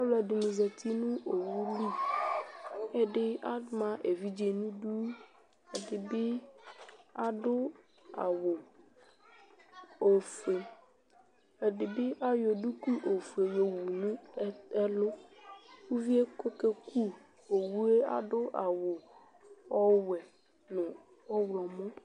Aluɛdini zati nu owuli ɛdi ama evidze nu idu ɛdini adu awu ofue ɛdibi ayɔ duku ofue yowu nu ɛli uvie ku okeku owu adu awu ɔwɛ nu ɔɣlomɔ